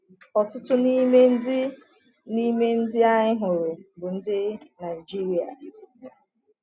Ọtụtụ n’ime ndị n’ime ndị anyị hụrụ bụ ndị Naịjirịa.